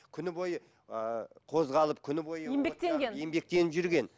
күні бой ыыы қозғалып күні бойы еңбектеніп жүрген